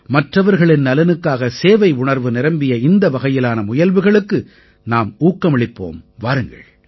மற்றவர்களின் நலனுக்காக சேவை உணர்வு நிரம்பிய இந்த வகையிலான முயல்வுகளுக்கு நாம் ஊக்கமளிப்போம் வாருங்கள்